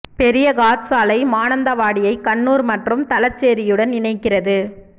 பெரிய காட் சாலை மானந்தவாடியை கண்ணூர் மற்றும் தலசேரியுடன் இணைக்கிறது